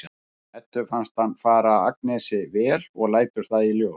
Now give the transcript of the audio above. Eddu finnst hann fara Agnesi vel og lætur það í ljós.